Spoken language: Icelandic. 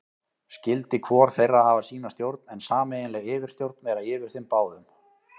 Skyldi hvor þeirra hafa sína stjórn, en sameiginleg yfirstjórn vera yfir þeim báðum.